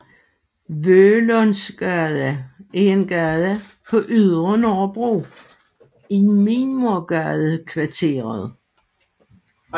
Vølundsgade er en gade på Ydre Nørrebro i Mimersgadekvarteret